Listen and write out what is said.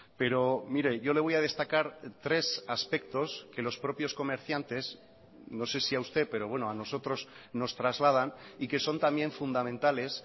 pero mire yo le voy a destacar tres aspectos que los propios comerciantes no sé si a usted pero bueno a nosotros nos trasladan y que son también fundamentales